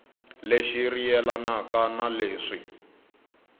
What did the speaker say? lexi ri yelana na leswi